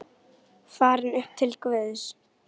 Farin upp til Guðs.